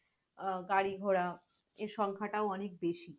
আহ গাড়ি-ঘোড়া এর সংখ্যা টাও অনেক বেশি।